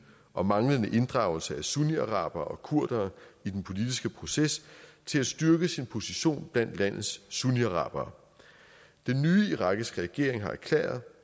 og manglende inddragelse af sunniarabere og kurdere i den politiske proces til at styrke sin position blandt landets sunniarabere den nye irakiske regering har erklæret